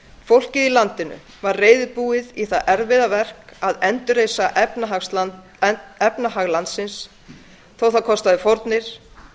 fólkið í landinu var reiðubúið í það erfiða verk að endurreisa efnahag landsins þó það kostaði fórnir